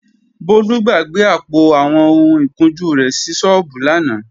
Bólú gbàgbé àpò àwọn ohun ìkunjú rẹ̀ sí sọ́ọ́bù lánàá